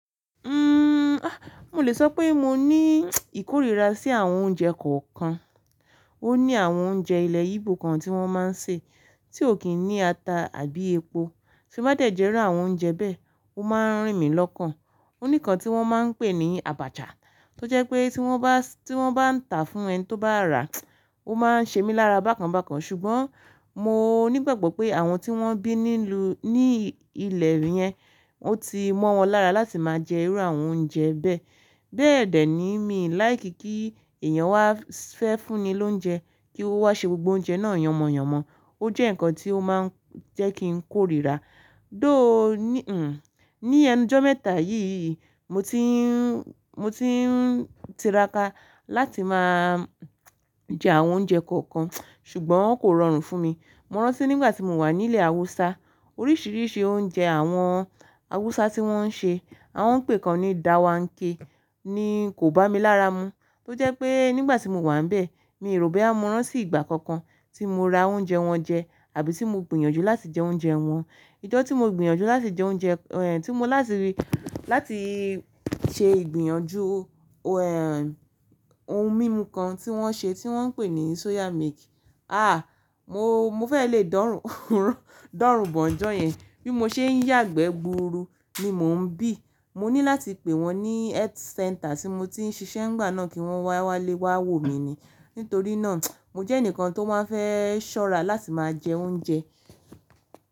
Uhm, a! Mo lè sọ pé mo ní ìkórìíra sí àwọn oúnjẹ kọ̀ọ̀kan. Ó ní àwọn oúnjẹ ilẹ̀ Igbo kan tí wọ́n máa ń sè, tí ò kí n ní ata àbí epo, ṣe bá dẹ̀jẹ rú àwọn oúnjẹ bẹ́ẹ̀, ó máa ń rìn mí lọ́kàn. Ó ní kan tí wọ́n máa ń pè ní Abacha, tó jẹ́ pé tí wọ́n bá, tí wọ́n bá ń tàá fún ẹni tó bá rà, ó máa ń ṣe mí lára bákan bákan. Ṣùgbọ́n mo nígbàgbọ́ pé àwọn tí wọ́n bí nílu, ní ilẹ̀ yẹn, wọ́n ti mọ́ wọn lára láti máa jẹ irú àwọn oúnjẹ bẹ́ẹ̀. Bẹ́ẹ̀dẹ̀ ni mí làì kí kí èèyàn wá fẹ́ fún ni lóúnjẹ, kí ó wá ṣe gbogbo oúnjẹ náà yànmọ̀yànmọ̀. Ó jẹ́ nǹkan tí ó máa ń jẹ́ kí n kórìíra. Dó ò ní, hm, ní ẹnu ọjọ́ mẹ́ta yìí, mo ti ń, mo ti ń tiraka láti máa jẹ àwọn oúnjẹ kọ̀ọ̀kan, ṣùgbọ́n kò rọrùn fún mi. Mo rántí nígbà tí mo wà ní ilẹ̀ Awúsá, oríṣìíríṣìí oúnjẹ àwọn Awúsá tí wọ́n ń ṣe, àwọn ń pè kan ní Dawanke, ni kò bá mi lára mu. Tó jẹ́ pé nígbà tí mo wà níbẹ̀, mi ò rò pé á mọ́ rán sí ìgbà kankan tí mo ra oúnjẹ wọn jẹ, àbí ti mo gbìyànjú láti jẹ oúnjẹ wọn. Ìjọ́ tí mo gbìyànjú láti jẹ oúnjẹ, ẹh, tí mo láti rí, láti ṣe ìgbìyànjú, ẹh, ohun mímu kan tí wọ́n ṣe tí wọ́n ń pè ní Soya Milk. Ah! Mo, mo fẹ́ le dọ̀rùn, dọ̀rùn bọ̀ ń jọ́ yẹn. Bí mo ṣe ń yàgbẹ́ gburu ni mò ń bì Mo ní láti pè wọ́n ní Health Center tí mo ti ń ṣiṣẹ́ ńgbà náà kí wọ́n wálé wá wo mi ni. Nítorí náà, mo jẹ́ ẹnìkan tó máa fẹ́ ṣọ́ra láti máa jẹ oúnjẹ.